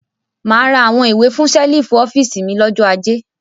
Mà á ra àwọn ìwé fún ṣẹ́lífù office mi lọ́jọ́ ajé.